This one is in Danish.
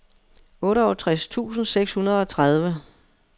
otteogtres tusind seks hundrede og tredive